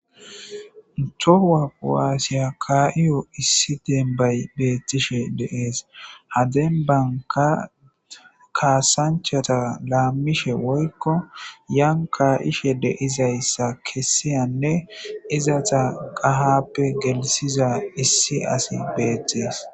Ntohuwaqwaasiya kaaiyo issi dembay bettishe deees hadenbanka kaasanchata laammishe woykko yan kaa'ishe deizayssa kessiyanne izasa qahappe gelisiza issi asi beettees.